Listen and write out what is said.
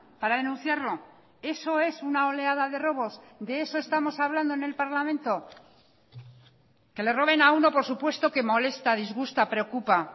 para denunciarlo eso es una oleada de robos de eso estamos hablando en el parlamento que le roben a uno por supuesto que molesta disgusta preocupa